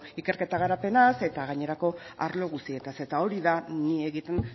ikerketa garapenaz eta gainerako arlo guztietaz eta hori da ni egiten